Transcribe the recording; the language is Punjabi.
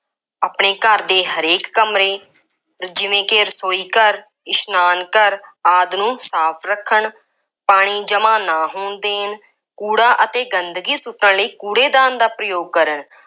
ਆਪਣੇ ਘਰ ਦੇ ਹਰੇਕ ਕਮਰੇ ਜਿਵੇਂ ਕਿ ਰਸੋਈ ਘਰ, ਇਸ਼ਨਾਨ ਘਰ ਆਦਿ ਨੂੰ ਸਾਫ ਰੱਖਣ, ਪਾਣੀ ਜਮ੍ਹਾ ਨਾ ਹੋਣ ਦੇਣ, ਕੂੜਾ ਅਤੇ ਗੰਦਗੀ ਸੁੱਟਣ ਲਈ ਕੂੜੇ ਦਾਨ ਦਾ ਪ੍ਰਯੋਗ ਕਰਨ,